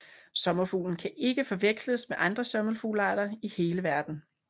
Sommerfuglen kan ikke forveksles med andre sommerfuglearter i hele verden